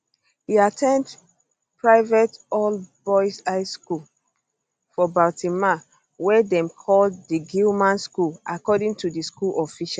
e at ten d private allboys high school for baltimore wey dem call di gilman school according to school officials